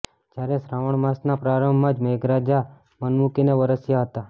જ્યારે શ્રાવણ માસના પ્રારંભમાં જ મેઘરાજા મનમુકીને વરસ્યા હતા